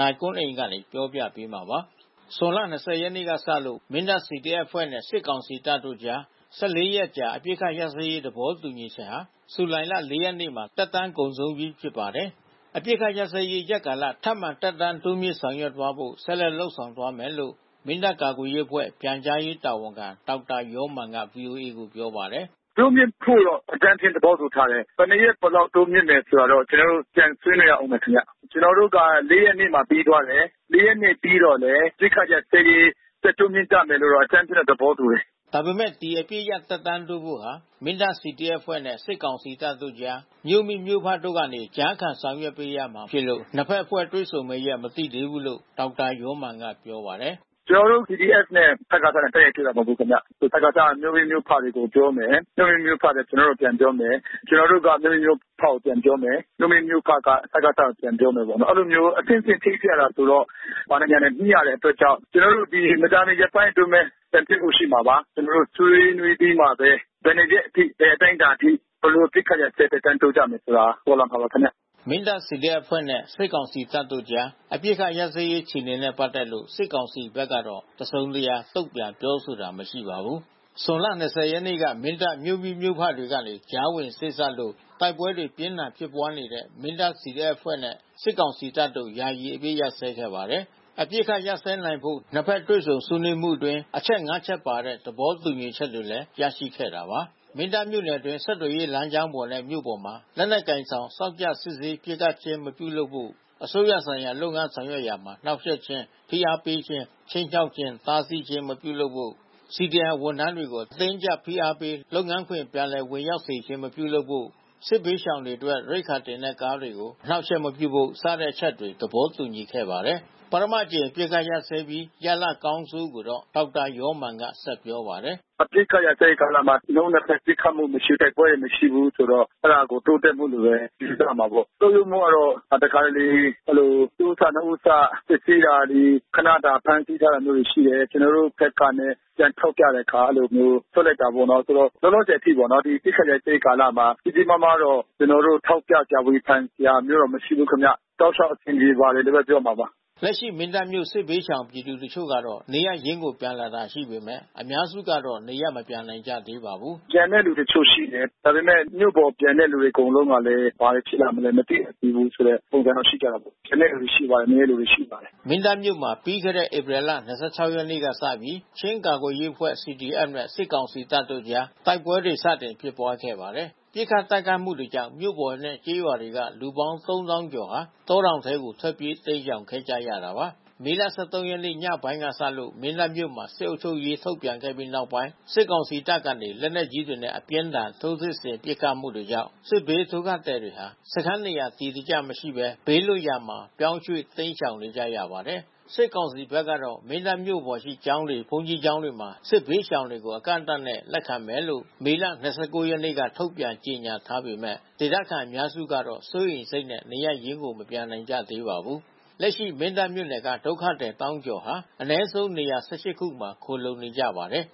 နိုင်ကွန်းအိန် တင်ပြပေးထားပါတယ်။ ဇွန်လ ၂၀ ရက်နေ့ကစလို့ မင်းတပ် CDF အဖွဲ့နဲ့ စစ်ကောင်စီတပ်တို့ကြား ၁၄ ရက်အကြာ အပစ်အခတ်ရပ်စဲရေး သဘောတူညီချက်ဟာ ဇူလိုင်လ ၄ ရက်နေ့မှာ သက်တမ်းကုန်ဆုံးပြီး ဖြစ်ပါတယ်။ အပစ်အခတ်ရပ်စဲရေး ရက်ကာလ ထပ်မံသက်တမ်းတိုးမြှင့် ဆောင်ရွက်သွားဖို့ ဆက်လက်လုပ်ဆောင်သွားမယ်လို့ မင်းတပ် ကာကွယ်ရေးအဖွဲ့ ပြန်ကြားရေးတာဝန်ခံ ဒေါက်တာယောမာန်က ဗွီအိုအေကို ပြောပါတယ်။ “တိုးမြှင့်ဖို့တော့ အကြမ်းဖျင်း သဘောတူထားတယ်။ ဘယ်နှစ်ရက် ဘယ်လောက်တိုးမြှင့်တယ် ဆိုတာတော့ ကျနော်တို့ ပြန်ဆွေးနွေးရဦးမယ်ခင်ဗျ။ ကျနော်တို့က ၄ ရက်နေ့မှာ ပြီးသွားတယ်။ ၄ ရက်နေ့ပြီးတော့လည်း အပစ်အခတ်ရပ်စဲရေး ဆက်တိုးမြှင့်ကြမယ်လို့တော့ အကြမ်းဖျင်း သဘောတူတယ်။” ဒါပေမယ့် ဒီအပစ်ရပ်သက်တမ်းတိုးဖို့ဟာ မင်းတပ် CDF အဖွဲ့နဲ့ စစ်ကောင်စီတပ်တို့ကြား မြို့မိမြို့ဖတို့ကနေ ကြားခံဆောင်ရွက်ပေးရမှာဖြစ်လို့ နှစ်ဖက်အဖွဲ့ တွေ့ဆုံမယ့်ရက် မသိသေးဘူးလို့ ဒေါက်တာယောမာန်က ပြောပါတယ်။ “ကျနော်တို့ CDF နဲ့ စကစနဲ့ တိုက်ရိုက်တွေ့တာ မဟုတ်ဘူးဗျ။ ဒီစကစက မြို့မိမြို့ဖတွေကို ပြောမယ်၊ မြို့မိမြို့ဖတွေက ကျေနာ်တို့ကို ပြန်ပြောမယ်။ ကျနော်တို့က မြို့မိမြို့ဖတွေကို ပြန်ပြောမယ်။ မြို့မိမြို့ဖက စကစကို ပြန်ပြောမယ်ပေါ့နော်။ အဲဒီလိုမျိုး အဆင့်ဆင့် ချိတ်ဆက်ရတယ်ဆိုတော့ ဘာတွေညာတွေ ညှိရတဲ့အတွက်ကြောင့် ကျနော်တို့ မကြာမီရက်ပိုင်းအတွင်းပဲ ပြန်တွေ့ဖို့ရှိမှာပါ။ ကျနော်တို့ ဆွေးနွေးပြီးမှပဲ ဘယ်နှစ်ရက်အထိ ဘယ်အတိုင်းအတာထိ ဘယ်လိုအပစ်အခတ်ရပ်စဲ သက်တမ်းတိုးကြမလဲဆိုတာ ပေါ်လာမှာပါခင်ဗျ။” မင်းတပ် CDF အဖွဲ့နဲ့ စစ်ကောင်စီတပ်တို့ကြား အပစ်အခတ်ရပ်စဲရေး အခြေအနေတွေနဲ့ ပတ်သက်လို့ စစ်ကောင်စီဘက်ကတော့ တစုံတရာ တုံ့ပြန်ပြောဆိုတာ မရှိပါဘူး။ ဇွန်လ ၂၀ ရက်နေ့က မင်းတပ်မြို့မိမြို့ဖတွေကနေ ကြားဝင်စေ့စပ်လို့ တိုက်ပွဲတွေ ပြင်းထန်ဖြစ်ပွားနေတဲ့ မင်းတပ် CDF အဖွဲ့နဲ့ စစ်ကောင်စီတပ်တို့ ယာယီအပစ်အခတ် ရပ်စဲခဲ့ပါတယ်။ အပစ်အခတ်ရပ်စဲနိုင်ဖို့ နှစ်ဖက်တွေ့ဆုံဆွေးနွေးမှုအတွင်း အချက် ၅ ချက်ပါတဲ့ သဘောတူညီချက်တွေလည်း ရရှိခဲ့တာပါ။ မင်းတပ်မြို့နယ်အတွင်း ဆက်သွယ်ရေးလမ်းကြောင်းနဲ့ မြို့ပေါ်မှာ လက်နက်ကိုင်ဆောင် စောင့်ကြပ်စစ်ဆေး ပစ်ခတ်ခြင်း မပြုလုပ်ဖို့ အစိုးရဌာနဆိုင်ရာလုပ်ငန်း ဆောင်ရွက်ရာမှာ နှောင့်ယှက်ခြင်း၊ ဖိအားပေးခြင်း၊ ခြိမ်းခြောက်ခြင်း၊ တားဆီးခြင်း မပြုလုပ်ဖို့၊ CDM ဝန်ထမ်းတွေကို အတင်းအကျပ် ဖိအားပေး လုပ်ငန်းခွင် ပြန်လည်ဝင်ရောက်စေခြင်း မပြုလုပ်ဖို့၊ စစ်ဘေးရှောင်တွေအတွက် ရိက္ခာတင်တဲ့ကားတွေကို အနှောင့်အယှက်မပြုဖို့ စတဲ့အချက်တွေ သဘောတူခဲ့ပါတယ်။ ပထမအကြိမ် အပစ်အခတ်ရပ်စဲပြီး ရလဒ်အကောင်းအဆိုးကိုတော့ ဒေါက်တာယောမာန်က ဆက်ပြောပါတယ်။ “အပစ်အခတ်ရပ်စဲရေး ကာလမှာ နှစ်ဦးနှစ်ဖက် ပစ်ခတ်မှုမရှိ၊ တိုက်ပွဲတွေမရှိဘူးဆိုတော့ အဲဒါကို တိုးတက်မှုလို့ပဲ ယူဆရမှာပေါ့။ ဆုတ်ယုတ်မှုကတော့ တခါတလေ အဲဒီလို တဦးစနှစ်ဦးစ စစ်ဆေးတာတွေ ခနတာ ဖမ်းဆီးထားတာမျိုးတွေ ရှိတယ်။ ကျနော်တို့ဘက်ကနဲ့ ပြန်ထောက်ပြတဲ့အခါ အဲဒီလိုမျိုး လွှတ်လိုက်တာပေါ့နော်။ ဆိုတော့ လောလောဆယ်အထိပေါ့နော် ဒီအပစ်အခတ်ရပ်စဲရေး ကာလမှာ ကြီးကြီးမားမားတော့ ကျနော်တို့ ထောက်ပြစရာ ဝေဖန်စရာမျိုးတော့ မရှိဘူးခင်ဗျ။ တောက်လျှောက် အဆင်ပြေပါတယ်လို့ပဲ ပြောရမှာပါ။” လက်ရှိ မင်းတပ်မြို့ စစ်ဘေးရှောင်ပြည်သူ တချို့ကတော့ နေရပ်ရင်းကို ပြန်လာတာရှိပေမယ့် အများစုကတော့ နေရပ်မပြန်နိုင်ကြသေးပါဘူး။ “ပြန်တဲ့သူတချို့ ရှိတယ်။ ဒါပေမယ့် မြို့ပေါ်ပြန်တဲ့သူ အကုန်လုံးကလည်း ဘာတွေဖြစ်လာမလဲ မသိဘူးဆိုတဲ့ ပုံစံတော့ ရှိကြတာပေါ့။ ပြန်တဲ့သူလည်း ရှိပါတယ်။ နည်းနည်းလေးပဲ ရှိပါတယ်။” မင်းတပ်မြို့မှာ ပြီးခဲ့တဲ့ ဧပြီလ ၂၆ ရက်နေ့လောက်ကစပြီး ချင်းကာကွယ်ရေးအဖွဲ့ (CDF) နဲ့ စစ်ကောင်စီတပ်တို့အကြား တိုက်ပွဲတွေ စတင်ဖြစ်ပွားခဲ့ပါတယ်။ ပစ်ခတ်တိုက်ခိုက်မှုတွေကြောင့် မြို့ပေါ်နဲ့ ကျေးရွာတွေက လူပေါင်း ၃၀,၀၀၀ ကျော်ဟာ တောတောင်တွေထဲကို ထွက်ပြေး တိမ်းရှောင်ခဲ့ကြရတာပါ။ မေလ ၁၃ ရက်နေ့ ညပိုင်းကစလို့ မင်းတပ်မြို့မှာ စစ်အုပ်ချုပ်ရေး ထုတ်ပြန်ခဲ့ပြီးနောက်ပိုင်း စစ်ကောင်စီတပ်ကနေ လက်နက်ကြီးတွေနဲ့ အပြင်းအထန် ထိုးစစ်ဆင် ပစ်ခတ်မှုတွေကြောင့် စစ်ဘေးဒုက္ခသည်တွေဟာ စခန်းနေရာ အတည်တကျမရှိဘဲ ဘေးလွတ်ရာမှာ ပြောင်းရွှေ့ တိမ်းရှောင်နေရပါတယ်။ စစ်ကောင်စီဘက်ကတော့ မင်းတပ်မြို့ပေါ်ရှိ ကျောင်းတွေ၊ ဘုန်းကြီးကျောင်းတွေမှာ စစ်ဘေးရှောင်တွေကို အကန့်အသတ်နဲ့ လက်ခံမယ်လို့ မေလ ၂၉ ရက်နေ့က ထုတ်ပြန်ကြေညာထားပေမယ့် ဒေသခံတွေ အများစုကတော့ စိုးရိမ်စိတ်နဲ့ နေရပ်ရင်းကို မပြန်နိုင်ကြသေးပါဘူး။ လက်ရှိ မင်းတပ်မြို့နယ်က ဒုက္ခသည် သောင်းကျော်ဟာ အနည်းဆုံး နေရာ ၁၈ ခုမှာ ခိုလှုံနေကြပါတယ်